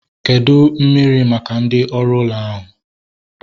Kedụ mmiri maka ndị oru ụlọ ahu?